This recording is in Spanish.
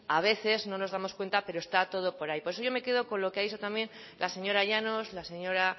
a veces no nos damos cuenta pero está todo por ahí por eso yo me quedo con lo que ha dicho también la señora llanos la señora